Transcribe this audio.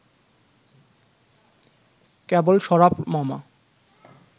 কেবল শরাফ মামা